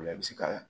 O la i bɛ se ka